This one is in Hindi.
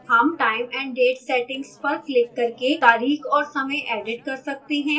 हम time & date settings पर क्लिक करके तारीख और समय edit कर सकते हैं